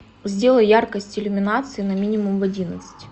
сделай яркость иллюминации на минимум в одиннадцать